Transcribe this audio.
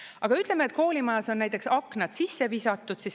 Aga ütleme, et koolimajas on näiteks aknad sisse visatud.